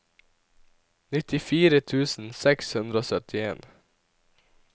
nittifire tusen seks hundre og syttien